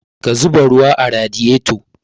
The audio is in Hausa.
Ka zuba ruwa a radiyeto